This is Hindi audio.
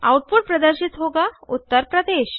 आउटपुट प्रदर्शित होगा उत्तर प्रदेश